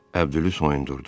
Əbdülü soyundurdum.